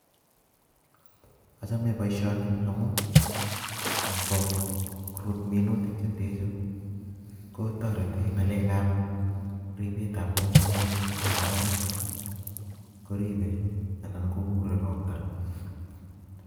Achome boisioni amun ngorut minutik kotareti ngaleg gapribet tab ngungunyat ago kora koribe Alan kogure ropta.